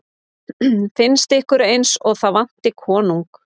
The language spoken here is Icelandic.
Finnst ykkur eins og það vanti konung?